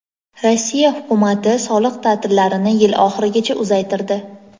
Rossiya Hukumati soliq ta’tillarini yil oxirigacha uzaytirdi.